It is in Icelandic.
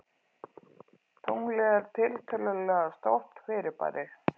Tunglið er tiltölulega stórt fyrirbæri.